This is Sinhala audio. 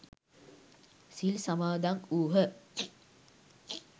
සිල් සමාදන් වුහ.